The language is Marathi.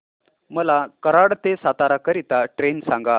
मला कराड ते सातारा करीता ट्रेन सांगा